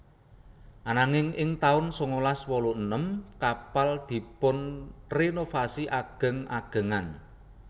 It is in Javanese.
Ananging ing taun sangalas wolu enem kapal dipunrenovasi ageng agengan